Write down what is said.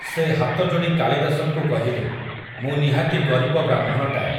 ସେ ହାତଯୋଡ଼ି କାଳିଦାସଙ୍କୁ କହିଲେ, ମୁଁ ନିହାତି ଗରିବ ବ୍ରାହ୍ମଣଟାଏ ।